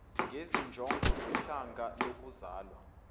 ngezinjongo zohlanga lokuzalwa